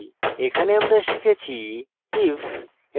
এখানে আমরা শিখেছি